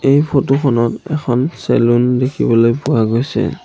এই ফটো খনত এখন চেলুন দেখিবলৈ পোৱা গৈছে।